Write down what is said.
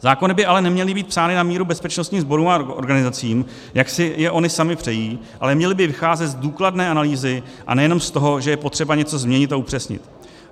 Zákony by ale neměly být psány na míru bezpečnostním sborům a organizacím, jak si je ony samy přejí, ale měly by vycházet z důkladné analýzy a nejenom z toho, že je potřeba něco změnit a upřesnit.